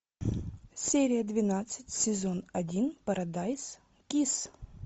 серия двенадцать сезон один парадайз кисс